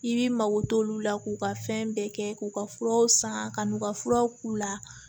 I b'i mago t'olu la k'u ka fɛn bɛɛ kɛ k'u ka furaw san ka n'u ka furaw k'u la